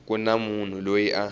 ku na munhu loyi a